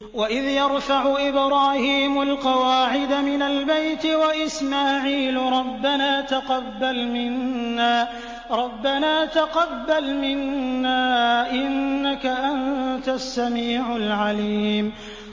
وَإِذْ يَرْفَعُ إِبْرَاهِيمُ الْقَوَاعِدَ مِنَ الْبَيْتِ وَإِسْمَاعِيلُ رَبَّنَا تَقَبَّلْ مِنَّا ۖ إِنَّكَ أَنتَ السَّمِيعُ الْعَلِيمُ